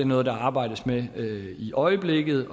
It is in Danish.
noget der arbejdes med i øjeblikket